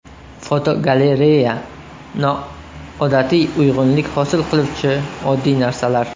Fotogalereya: Noodatiy uyg‘unlik hosil qiluvchi oddiy narsalar.